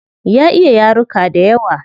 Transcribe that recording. Ya iya yaruka dayawa